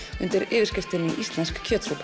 undir yfirskriftinni Íslensk kjötsúpa